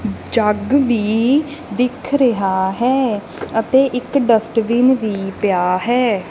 ਜੱਗ ਵੀ ਦਿੱਖ ਰਿਹਾ ਹੈ ਅਤੇ ਇੱਕ ਡਸਟਬਿਨ ਵੀ ਪਿਆ ਹੈ।